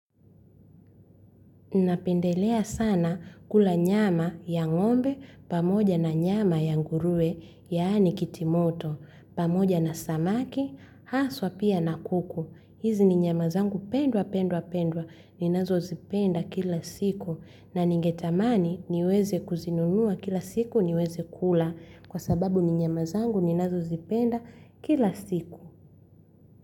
Napendelea sana kula nyama ya ngombe pamoja na nyama ya ngurue yaani kitimoto pamoja na samaki haswa pia na kuku. Hizi ni nyama zangu pendwa pendwa pendwa ninazo zipenda kila siku na ningetamani niweze kuzinunua kila siku niweze kula kwa sababu ni nyamazangu ninazo zipenda kila siku.